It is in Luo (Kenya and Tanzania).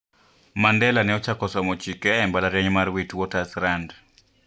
Mandela ne ochako somo chike e mbalariany mar Witwatersrand,